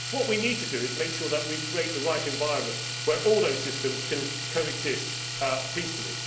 What we need to do is make sure that we create the right environment where all those systems can coexist peacefully.